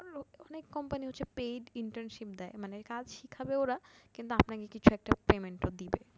অনেক company হচ্ছে paidinternship দেয় মানে কাজ শিখাবে ওরা কিন্তু আপনাকে কিছু একটা payment ও দিবে